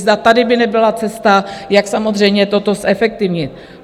Zda tady by nebyla cesta, jak samozřejmě toto zefektivnit.